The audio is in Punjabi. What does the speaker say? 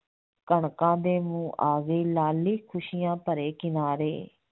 ਕਣਕਾਂ ਦੇ ਮੂੰਹ ਆ ਗਈ ਲਾਲੀ ਖੁਸੀਆਂ ਭਰੇ ਕਿਨਾਰੇ